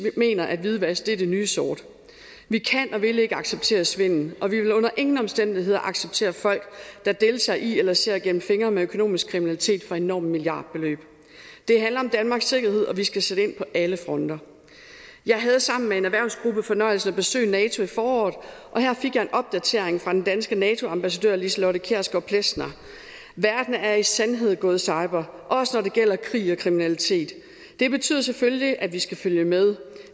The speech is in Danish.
mener at hvidvask er det nye sort vi kan og vil ikke acceptere svindel og vi vil under ingen omstændigheder acceptere folk der deltager i eller ser igennem fingre med økonomisk kriminalitet for enorme milliardbeløb det handler om danmarks sikkerhed og vi skal sætte ind på alle fronter jeg havde sammen med en erhvervsgruppe fornøjelsen af at besøge nato i foråret og her fik jeg en opdatering fra den danske nato ambassadør liselotte kjærsgaard plesner verden er i sandhed gået cyber også når det gælder krig og kriminalitet det betyder selvfølgelig at vi skal følge med